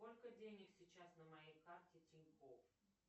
сколько денег сейчас на моей карте тинькофф